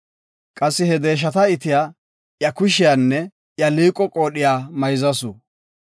Qassi he deeshata itiya iya kushiyanne iya liiqo qoodhiya mayzasu.